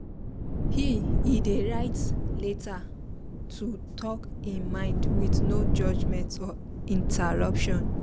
he he dey write letter to talk e mind with no judgement or interruption